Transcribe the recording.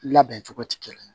Labɛn cogo ti kelen ye